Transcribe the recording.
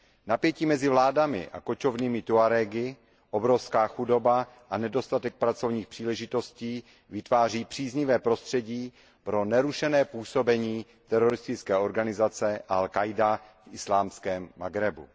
Napětí mezi vládami a kočovnými Tuarégy, obrovská chudoba a nedostatek pracovních příležitostí vytváří příznivé prostředí pro nerušené působení teroristické organizace al Káida v Islámském Maghrebu.